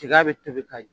Tiga bɛ tobi ka